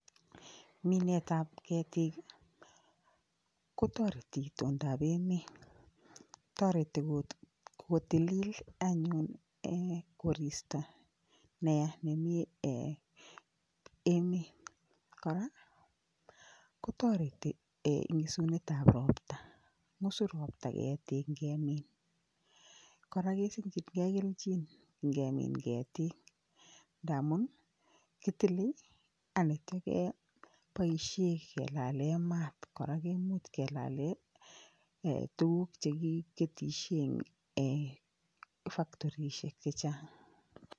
Minetap ketik, kotoreti itondap emet. Toreti kotilil anyun um koristo neya nemi [um]emet. Kora kotoreti um eng isunetap ropta. Ng'usu ropta ketik nkemin kora kesimchinkei kelchin nkemin ketik ndamun kitile anityo keboishe kelale mat kora komuch kelale tuguk chekiketishe eng factorishek chechang.